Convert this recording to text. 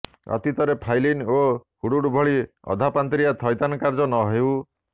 ଅତୀତରେ ଫାଇଲିନ ଓ ହୁଡହୁଡ୍ ଭଳି ଅଧାପନ୍ତରିଆ ଥଇଥାନ କାର୍ଯ୍ୟ ନହେଉ